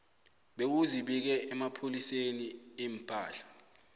bewuzibike emapholiseni iimpahla